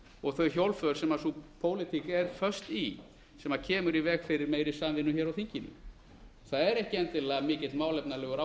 og þau hjólför sem sú pólitík er föst í sem kemur í veg fyrir meiri samvinnu á þinginu það er ekki endilega mikill málefnalegur